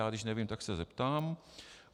Já když nevím, tak se zeptám.